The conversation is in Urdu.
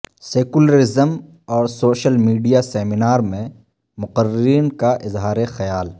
سیکولرزم اور سوشل میڈیا سیمینار میں مقررین کا اظہار خیال